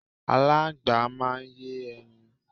Aláńgbá máa ń yé ẹyin.